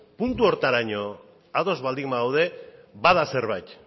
puntu horretaraino ados baldin bagaude bada zerbait